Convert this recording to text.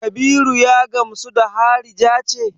Kabiru ya gamsu da harija ce?